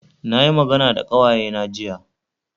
Na yi magana da ƙawayena jiya